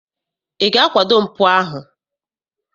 Ị ga-akwado mpụ ahụ?